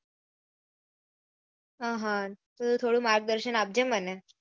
આ હા તો થોડું માર્ગદર્શન આપજે મને